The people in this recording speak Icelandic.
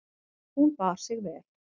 Hún bar sig vel.